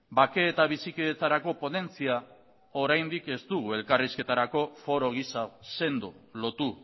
bake eta bizikidetzarako ponentzia oraindik ez dugu elkarrizketarako foro gisa sendo lotu